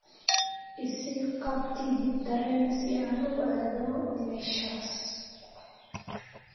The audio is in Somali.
I sii qab tigidh tareen si aan u aado meeshaas